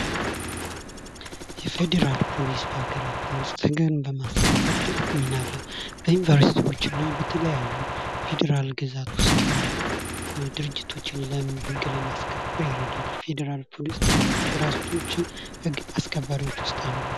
የፌዴራል ፖሊስ በአገራችን ዉስጥ ህግን በማስከበር ትልቅ ሚና አለዉ። በዩኒቨርስቲዎች እና በተለያዩ ፌዴራል ግዛት ዉስጥ ያሉ ድርጅቶችን ህግ ለማስከበር ይረዳል። የፌዴራል ፖሊስ አገራቶችን ህግ አስከባሪዎች ዉስጥ አንዱ ነዉ።